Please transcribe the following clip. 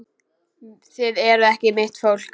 Þið eruð ekki mitt fólk.